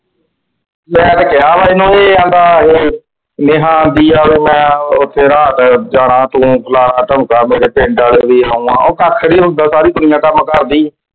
ਮੈਂ ਤੇ ਕਿਹਾ ਵਾ ਇਹਨੂੰ ਇਹ ਆਂਦਾ ਇਹ ਨੇਹਾ ਦੀ ਚਲ ਮੈਂ ਉਹ ਜਾਣਾ ਤੂੰ ਉਹ ਕੱਖ ਨੂੰ ਹੁੰਦਾ ਸਾਰੀ ਦੁਨੀਆ ਕੱਮ ਕਰਦੀ।